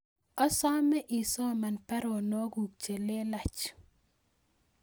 Asome isoman baronokyuk chelelach